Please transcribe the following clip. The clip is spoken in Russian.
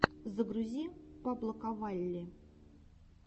загрузи паблоковалли